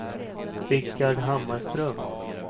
Rickard Hammarström